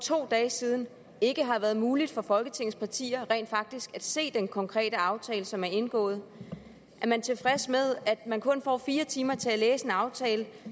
to dage siden ikke har været muligt for folketingets partier rent faktisk at se den konkrete aftale som er indgået er man tilfreds med at man kun får fire timer til at læse en aftale